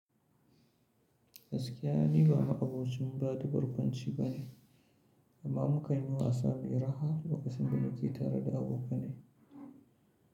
Gaskiya ne ba ma abokin bada barkwanci ba ne, amma muka yi wasa da iri har lokacin da nake tare da abokanai.